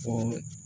O